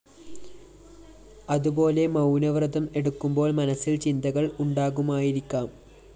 അതുപോലെ മൗനവ്രതം എടുക്കുമ്പോള്‍ മനസ്സില്‍ ചിന്തകള്‍ ഉണ്ടാകുമായിരിക്കാം